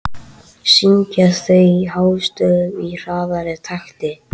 Syngja þau hástöfum í hraðari takti.